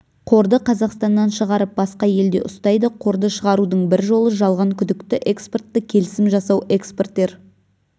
қорды қазақстаннан шығарып басқа елде ұстайды қорды шығарудың бір жолы жалған күдікті экспортты келісім жасау экспортер